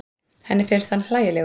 Henni finnst hann hlægilegur.